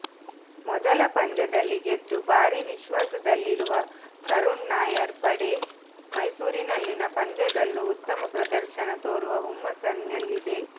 ಮೊದಲ ಪಂದ್ಯದಲ್ಲಿ ಗೆದ್ದು ಭಾರೀ ವಿಶ್ವಾಸದಲ್ಲಿರುವ ಕರುಣ್ ನಾಯರ್ ಪಡೆ ಮೈಸೂರಿನಲ್ಲಿನ ಪಂದ್ಯದಲ್ಲೂ ಉತ್ತಮ ಪ್ರದರ್ಶನ ತೋರುವ ಹುಮ್ಮಸ್ಸಿನಲ್ಲಿದೆ